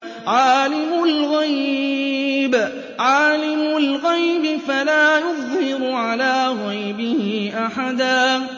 عَالِمُ الْغَيْبِ فَلَا يُظْهِرُ عَلَىٰ غَيْبِهِ أَحَدًا